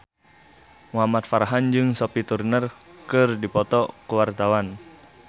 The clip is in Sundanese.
Muhamad Farhan jeung Sophie Turner keur dipoto ku wartawan